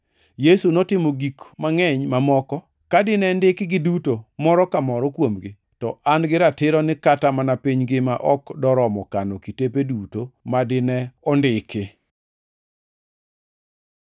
Yesu notimo gik mangʼeny mamoko. Ka dine ndikgi duto moro ka moro kuomgi, to an gi ratiro ni kata mana piny ngima ok doromo kano kitepe duto ma dine ondiki.